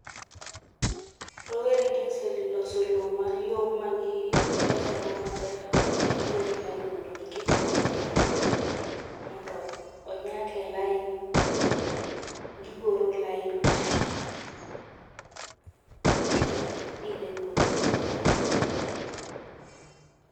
Rowere gi oseloso loo mayom magiloso go maler mondo gikete kodhi mondo onyak e lain, gigoro lain mondo gipidhe kodhi